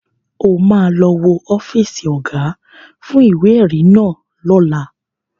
O ma lọ wo ọ́fíìsì Ọ̀gá fún ìwé-ẹ̀rí náà lọ́la